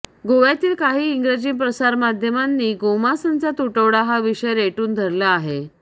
गोव्यातील काही इंग्रजी प्रसारमाध्यमांनी गोमांसाचा तुटवडा हा विषय रेटून धरला आहे